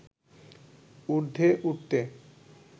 উর্ধ্বে উঠতে